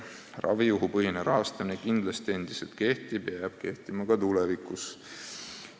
Ravijuhupõhine rahastamine kehtib endiselt ja jääb kehtima ka tulevikus.